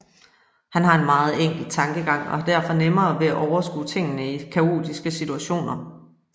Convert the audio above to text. Han har en meget enkel tankegang og har derfor nemmere ved at overskue tingene i kaotiske situationer